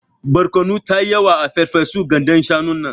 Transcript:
Barkono tayi yawa a ferfesun gandan shanun nan.